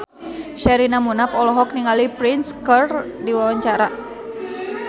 Sherina Munaf olohok ningali Prince keur diwawancara